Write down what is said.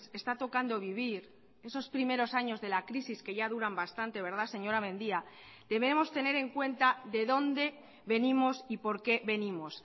está tocando vivir esos primeros años de la crisis que ya duran bastante verdad señora mendía debemos tener en cuenta de dónde venimos y por qué venimos